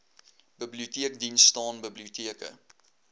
biblioteekdiens staan biblioteke